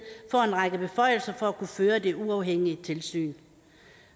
får en række beføjelser for at kunne føre det uafhængige tilsyn